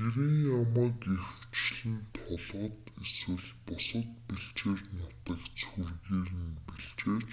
гэрийн ямааг ихэвчлэн толгод эсвэл бусад бэлчээр нутагт сүргээр нь бэлчээж